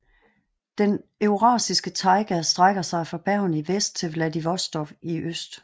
Den eurasiske taiga strækker sig fra Bergen i Vest til Vladivostok i øst